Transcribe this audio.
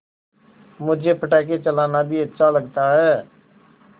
मुझे पटाखे चलाना भी अच्छा लगता है